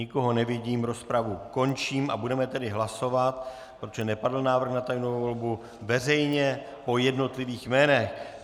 Nikoho nevidím, rozpravu končím a budeme tedy hlasovat, protože nepadl návrh na tajnou volbu, veřejně po jednotlivých jménech.